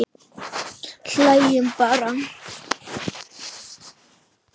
Hlæjum bara.